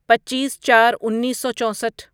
پچیس چار انیسو چوسٹھ